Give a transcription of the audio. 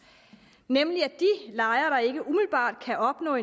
nemlig at de lejere der ikke umiddelbart kan opnå